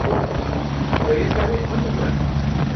हो, र यसबारे अन्य कुरा पनि छ।